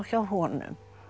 honum